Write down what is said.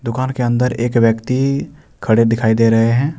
दुकान के अंदर एक व्यक्ति खड़े दिखाई दे रहे हैं।